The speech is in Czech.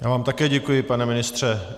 Já vám také děkuji, pane ministře.